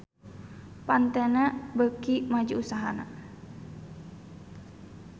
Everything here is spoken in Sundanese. Pantene beuki maju usahana